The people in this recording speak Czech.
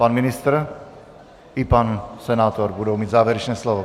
Pan ministr i pan senátor budou mít závěrečné slovo.